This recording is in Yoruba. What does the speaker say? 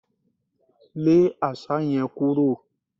Lé Àṣá yẹn kúrò!